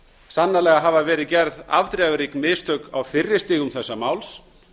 sannarlega hafa verið gerð afdrifarík mistök á fyrri stigum þessa máls